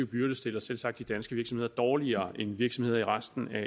byrde stiller selvsagt danske virksomheder dårligere end virksomheder i resten af